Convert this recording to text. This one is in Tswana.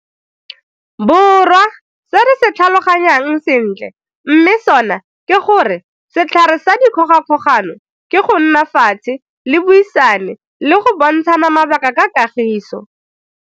Borwa se re se tlhaloganyang sentle mme sona ke gore setlhare sa dikgogakgogano ke go nna fatshe le buisane le go bontshana mabaka ka kagiso.